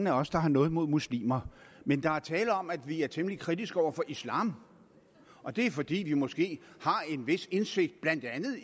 af os der har noget imod muslimer men der er tale om at vi er temmelig kritiske over for islam og det er fordi vi måske har en vis indsigt i blandt andet